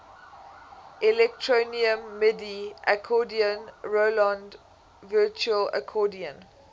electronium midi accordion roland virtual accordion